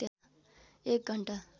एक घण्टा